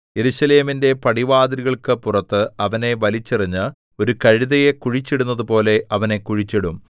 യെരൂശലേമിന്റെ പടിവാതിലുകൾക്കു പുറത്ത് അവനെ വലിച്ചെറിഞ്ഞ് ഒരു കഴുതയെ കുഴിച്ചിടുന്നതുപോലെ അവനെ കുഴിച്ചിടും